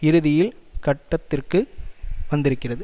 இறுதியில் கட்டத்திற்கு வந்திருக்கிறது